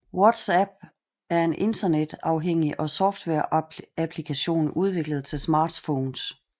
WhatsApp er en internetafhængig softwareapplikation udviklet til smartphones